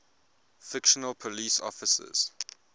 fictional police officers